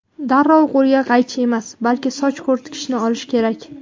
Darrov qo‘lga qaychi emas, balki soch quritgichni olish kerak.